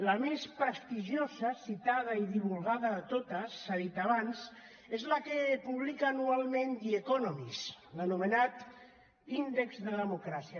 la més prestigiosa citada i divulgada de totes s’ha dit abans és la que publica anualment the economist l’anomenat índex de democràcia